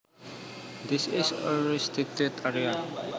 This is a restricted area